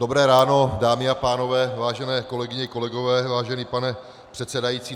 Dobré ráno, dámy a pánové, vážené kolegyně, kolegové, vážený pane předsedající.